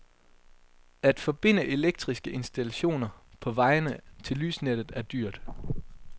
At forbinde elektriske installationer på vejene til lysnettet er dyrt.